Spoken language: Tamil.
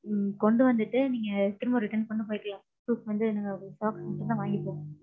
ம்ம் கொண்டு வந்திட்டு நீங்க திரும்ப return கொண்டு போய்க்கலாம். proof வந்து நாங்க xerox மட்டும் தான் வாங்கிப்போம்.